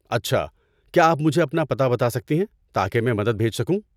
اچھا، کیا آپ مجھے اپنا پتہ بتا سکتی ہیں تاکہ میں مدد بھیج سکوں؟